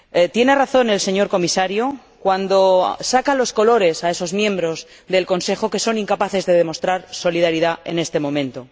Tiene razón el señor Comisario cuando saca los colores a esos miembros del Consejo que son incapaces de demostrar solidaridad en este momento.